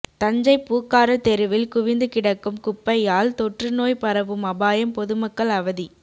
தஞ்சை பூக்கார தெருவில் குவிந்து கிடக்கும் குப்பையால் தொற்றுநோய் பரவும் அபாயம் பொதுமக்கள் அவதி